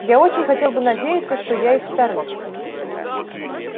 я очень хотел бы надеяться что и я из вторых